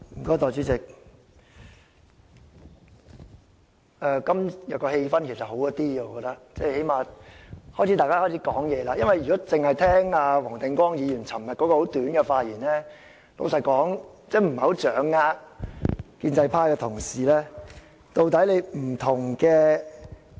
代理主席，我覺得今天的氣氛改善了，最低限度大家開始表達意見，因為如果只聽黃定光議員昨天很簡短的發言，坦白說，真的不太掌握建制派同事的想法。